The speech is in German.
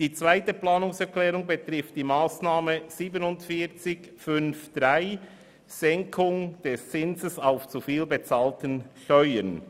Der zweite Antrag betrifft die Massnahme 47.5.3, Senkung des Zinses auf zu viel bezahlten Steuern.